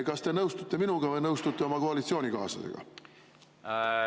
Kas te nõustute minuga või nõustute oma koalitsioonikaaslasega?